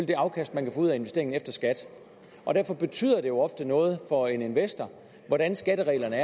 det afkast man kan få ud af investeringen efter skat og derfor betyder det jo ofte noget for en investor hvordan skattereglerne